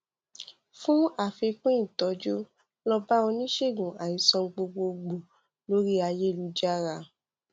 fún àfikún ìtọjú lọ bá oníṣègùn àìsàn gbogbo gbòò lóríayélujára